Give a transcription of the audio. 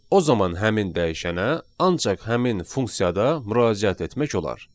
O zaman həmin dəyişənə ancaq həmin funksiyada müraciət etmək olar.